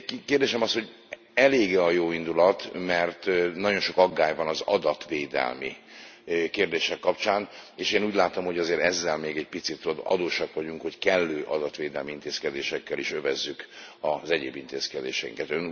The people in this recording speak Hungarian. Kérdésem az, hogy elég e a jóindulat, mert nagyon sok aggály van az adatvédelmi kérdések kapcsán, és én úgy látom, hogy azért ezzel még egy picit adósak vagyunk, hogy kellő adatvédelmi intézkedésekkel is övezzük az egyéb intézkedéseinket.